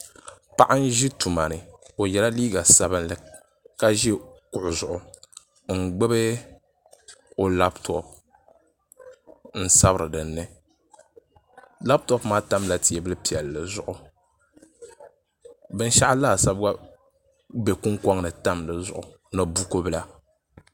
Paɣa n ʒi tuma ni o yɛla liiga sabinli ka ʒi kuɣu zuɣu n gbuni o labtop n sabiri dinni labtop maa tamla teebuli piɛlli zuɣu binshaɣu laasabu gba bɛ kunkoŋ ni tamya di zuɣu ni buku bila